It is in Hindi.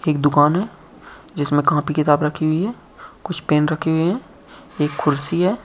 एक दुकान है जिसमें कापी किताब रखी हुई हैं कुछ पेन रखे हुए हैं एक कुर्सी है।